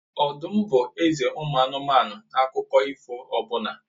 Ọdụm m bụ eze ụmụ anụmanụ na akụkọ ifo ọbụla.